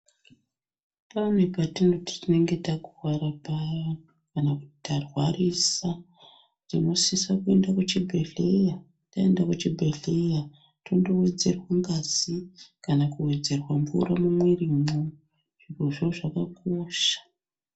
Pane petinoti tinenge takuwara paya kana kuti tarwarisa tinosise kuende kuchibhedhleya taende kuchibhedhleya tondowedzerwe ngazi kana kuwedzerwe mvura mumwirimwo zvirozvo zvakakosha.